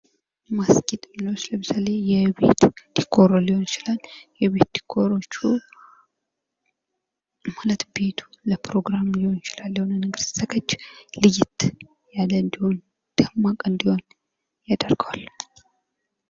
ማስጌጥ አሁን ለምሳሌ የቤት ዲኮር ሊሆን ይችላል። የቤት ዲኮራዎቹ ቤቱ ሲዘጋጅ ለፕሮግራም ሊሆን ይችላል ለየት የአለ እንዲሆን ደማቅ እንዲሆን ያደርገዋል።